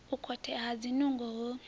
u khothea ha zwinungo hu